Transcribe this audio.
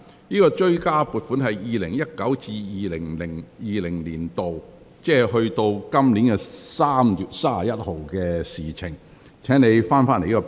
有關追加撥款關乎 2019-2020 年度，即截至本年3月31日為止的政府服務開支。